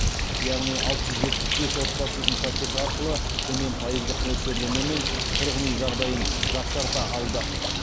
яғни алты жүз жетпіс бес отбасы ипотека арқылы төмен пайыздық мөлшерлемемен тұрғын үй жағдайын жақсарта алды